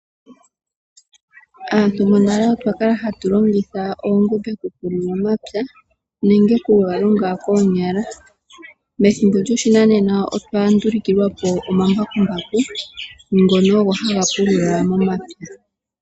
Aantu monale otwa kala hatu longitha oongombe oku pulula omapya, nenge ku ga longa koonyala. Methimbo lyo shinanena, otwa ndulukilwa po omambakumbaku, ngono ogo haga pulula momapya.